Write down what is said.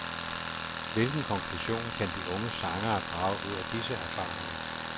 Hvilken konklusion kan de unge sangere drage ud af disse erfaringer.